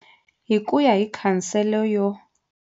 Hi ku ya hi Khansele yo.